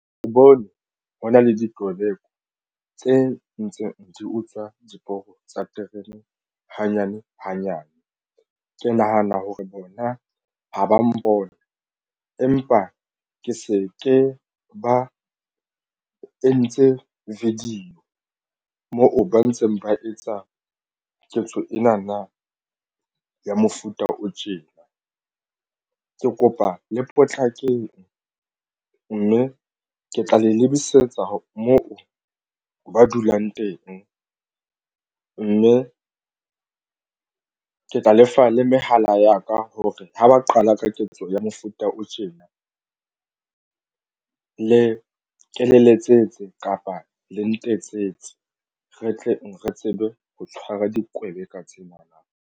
Ke bone ho na le dipoleke tse ntseng di utswa diporo tsa terene hanyane hanyane. Ke nahana hore bona ha ba mpona empa ke se ke ba entse video moo ba ntseng ba etsa ketso ena na ya mofuta o tjena ke kopa le potlakeng mme ke tla le lebisetsa moo ba dulang teng, mme ke tla lefa le mehala ya ka hore ha ba qala ka ketso ya mofuta o tjena le ke le letsetse kapa le ntetsetse re tleng re tsebe ho tshwara dikwebeka tsena na.